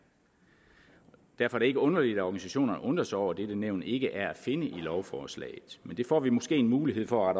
derfor ikke underligt at organisationerne undrer sig over at dette nævn ikke er at finde i lovforslaget men det får vi måske mulighed for at